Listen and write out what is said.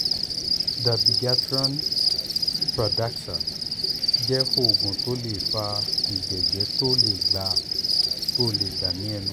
dabigatran pradaxa jẹ́ oògùn tó ń fa ìjẹ́jẹ̀jẹ̀jẹ̀ tó lè gbà ní ẹnu